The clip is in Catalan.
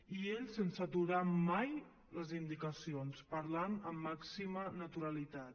i ell sense aturar mai les indicacions parlant amb màxima naturalitat